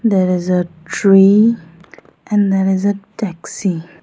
there is a tree and there is a taxi.